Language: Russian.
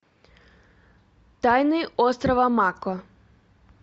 тайны острова мако